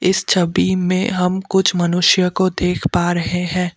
इस छवि में हम कुछ मनुष्य को देख पा रहे हैं।